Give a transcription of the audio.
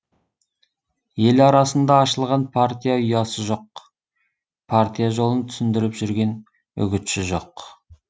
ел арасында ашылған партия ұясы жоқ партия жолын түсіндіріп жүрген үгітші жоқ